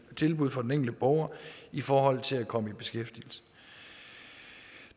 tilbud for den enkelte borger i forhold til at komme i beskæftigelse